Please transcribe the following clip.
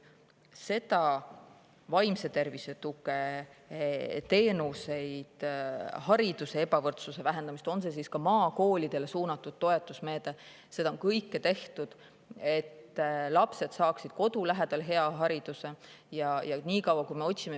Vaimse tervise tugi, teenused, hariduse ebavõrdsuse vähendamine, näiteks maakoolidele suunatud toetusmeetme abil – seda kõike on tehtud, et lapsed saaksid kodu lähedal hea hariduse.